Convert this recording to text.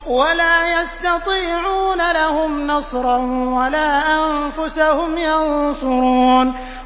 وَلَا يَسْتَطِيعُونَ لَهُمْ نَصْرًا وَلَا أَنفُسَهُمْ يَنصُرُونَ